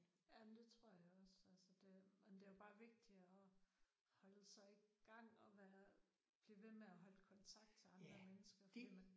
Jamen det tror jeg også altså det men det er jo bare vigtigt at holde sig i gang og være blive ved med at holde kontakt til andre mennesker fordi man